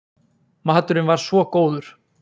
Maturinn var svo góður!